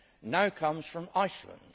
UK now comes from Iceland.